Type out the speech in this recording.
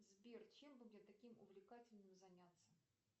сбер чем бы мне таким увлекательным заняться